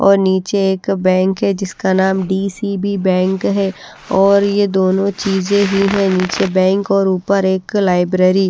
और नीचे एक बैंक है जिसका नाम डी_सी_बी बैंक है और ये दोनों चीजें ही हैं नीचे बैंक और ऊपर एक लाइब्रेरी --